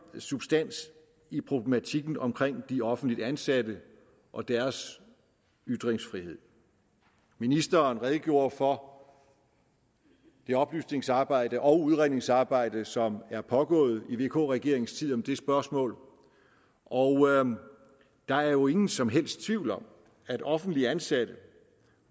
substans i problematikken om de offentligt ansatte og deres ytringsfrihed ministeren redegjorde for det oplysningsarbejde og udredningsarbejde som er pågået i vk regeringens tid om det spørgsmål og der er jo ingen som helst tvivl om at offentligt ansatte